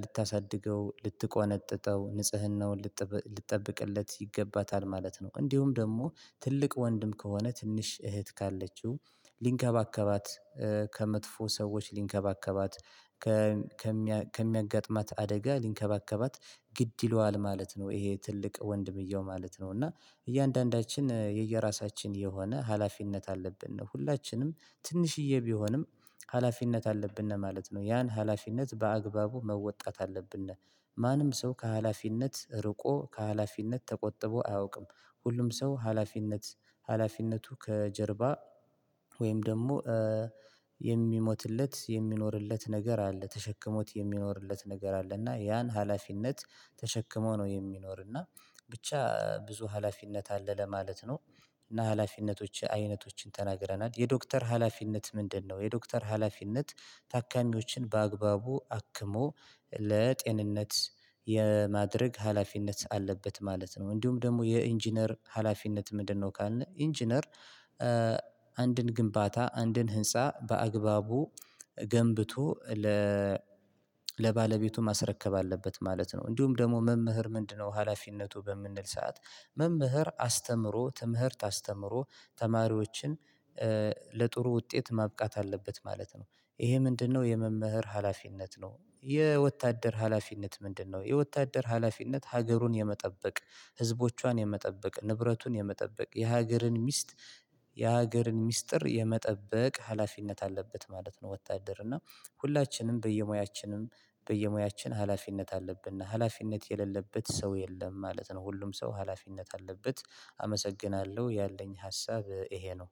ልታሳድገው ልትቆነጥጠው ንጽህናውን ልትጠብቅለት ይገባታል ማለት ነው። እንዲሁም ደግሞ ትልቅ ወንድም ከሆነ ትንሽ እህት ካለችው ሊንከባከባት ከመጥፎ ሰዎች ሊንከባከባት ከሚያጋጥማት አደጋ ሊንከባከባት ግድ ይለዋል ማለት ነው። ይሄ ትልቅ ወንድምየው ማለት ነው። እና እያንዳንዳችን የየራሳችን የሆነ ሀላፊነት አለብን ነው ሁላችንም ትንሽዬ ቢሆንም ሀላፊነት አለብን ማለት ነው። ያን ሀላፊነት በአግባቡ መወጣት አለብን ማንም ሰው ከሀላፊነት ርቆ ከሀላፊነት ተቆጥቦ አያውቅም። ሁሉም ሰው ሀላፊነት ሀላፊነቱ ከጀርባ ወይም ደግሞ የሚሞትለት የሚኖርለት ነገር አለ ተሸክሞት የሚኖርለት ነገር አለ እና ያን ሀላፊነት ተሸክሞ ነው የሚኖር እና ብቻ ብዙ ሀላፊነት አለ ለማለት ነው። እና ሀላፊነቶች አይነቶችን ተናግረናል የዶክተር ሀላፊነት ምንድነው? የዶክተር ሀላፊነት ታካሚዎችን በአግባቡ አክሞ ለጤንነት የማድረግ ሀላፊነት አለበት ማለት ነው። እንዲሁም ደግሞ የኢንጂነር ሀላፊነት ምንድነው? ካልን ኢንጂነር አንድን ግንባታ አንድን ህንፃ በአግባቡ ገንብቶ ለባለቤቱ ማስረከብ አለበት ማለት ነው። እንዲሁም ደግሞ መምህር ምንድነው ሀላፊነቱ? በምንል ሰዓት መምህር አስተምሮ ትምህርት አስተምሮ ተማሪዎችን ለጥሩ ውጤት ማብቃት አለበት ማለት ነው። ይሄ ምንድነው? የመምህር ሀላፊነት ነው። የወታደር ሀላፊነት ምንድነው? የወታደር ሀላፊነት ሀገሩን የመጠበቅ ህዝቦቿን የመጠበቅ ንብረቱን የመጠበቅ የሀገርን ሚስት የሀገርን ሚስጥር የመጠበቅ ሀላፊነት አለበት ማለት ነው። ወታደር እና ሁላችንም በየሙያችንም በየሙያችን ሀላፊነት አለብን እና ሀላፊነት የሌለበት ሰው የለም ማለት ነው። ሁሉም ሰው ሀላፊነት አለበት አመሰግናለሁ ያለኝ ሀሳብ ይሄ ነው።